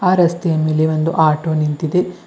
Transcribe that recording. ಆ ರಸ್ತೆಯ ಮೇಲೆ ಒಂದು ಆಟೋ ನಿಂತಿದೆ.